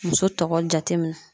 Muso tɔgɔ jate minɛ.